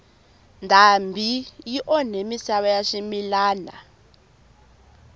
ndhambi yi onha misava ya swimilana